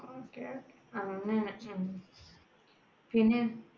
okay അങ്ങനെ ഉം പിന്നെ,